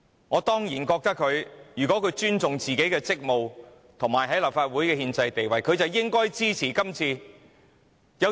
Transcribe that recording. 我固然認為如果他們尊重自己的職務及立法會的憲制地位，便應該支持這項議案。